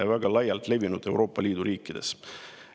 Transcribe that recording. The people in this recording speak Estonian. Selline on Euroopa Liidu riikides väga laialt levinud.